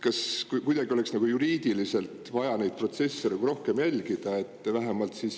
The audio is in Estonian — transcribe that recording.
Kas kuidagi oleks juriidiliselt vaja neid protsesse rohkem jälgida, et vähemalt ametnikud …